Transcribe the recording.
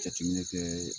Jateminɛ kɛ